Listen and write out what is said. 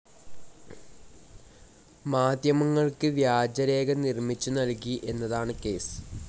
മാധ്യമങ്ങൾക്ക് വ്യാജരേഖ നിർമ്മിച്ചു നൽകി എന്നതാണ് കേസ്.